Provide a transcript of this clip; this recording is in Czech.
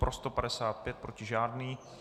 Pro 155, proti žádný.